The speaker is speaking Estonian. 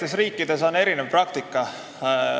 Eri riikides on erinev praktika.